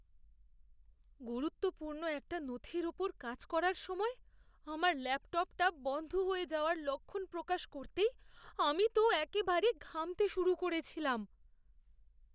গুরুত্বপূর্ণ একটা নথির ওপর কাজ করার সময় আমার ল্যাপটপটা বন্ধ হয়ে যাওয়ার লক্ষণ প্রকাশ করতেই আমি তো একেবারে ঘামতে শুরু করেছিলাম।